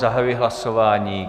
Zahajuji hlasování.